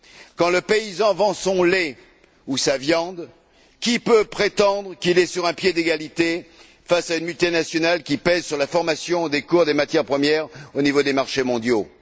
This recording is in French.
Quand le paysan vend son lait ou sa viande, qui peut prétendre qu'il est sur un pied d'égalité face à une multinationale qui pèse sur la formation des cours des matières premières au niveau des marchés mondiaux?